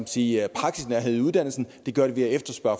sige praksisnærhed i uddannelsen det gør de ved at efterspørge